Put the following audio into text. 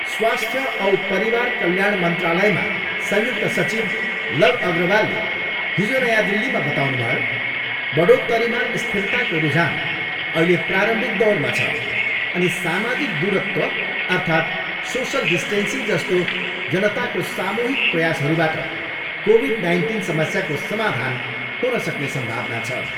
स्वास्थ्य औ परिवार कल्याण मन्त्रालयमा संयुक्त सचिव लव अग्रवालले हिजो नयाँ दिल्लीमा बताउनुभयो, बढोत्तरीमा स्थिरताको रुझान अहिले प्रारम्भिक दौरमा छ अनि सामाजिक दूरत्व अर्थात सोसल डिस्टेन्सिङ जस्तो जनताको सामूहिक प्रयासहरूबाट कोभिड नाइन्टिन समस्याको समाधान हुनसक्ने सम्भावना छ।